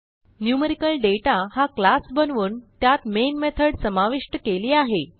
न्युमेरिकलदाता हा क्लास बनवून त्यात मेन मेथॉड समाविष्ट केली आहे